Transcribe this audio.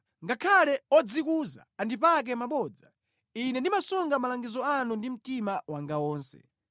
Ngakhale odzikuza andipaka mabodza, ine ndimasunga malangizo anu ndi mtima wanga wonse.